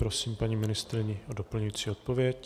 Prosím paní ministryni o doplňující odpověď.